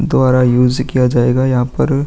दोरा यूज किया जायेगा यहाँ पर।